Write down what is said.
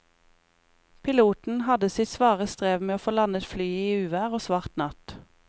Piloten hadde sitt svare strev med å få landet flyet i uvær og svart natt.